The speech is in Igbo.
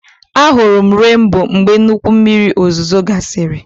A hụrụ m renboo mgbe nnukwu mmiri ozuzo gasịrị